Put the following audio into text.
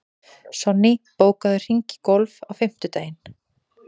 Sonný, bókaðu hring í golf á fimmtudaginn.